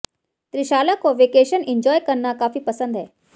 त्रिशाला को vacation enjoy करना काफी पसंद है